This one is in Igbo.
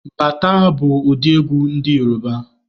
Bata bụ ụdị egwu ndị Yoruba